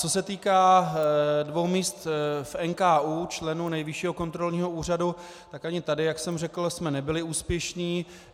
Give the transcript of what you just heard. Co se týká dvou míst v NKÚ, členů Nejvyššího kontrolního úřadu, tak ani tady, jak jsem řekl, jsme nebyli úspěšní.